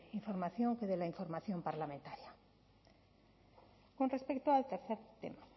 información que de la información parlamentaria con respecto al tercer tema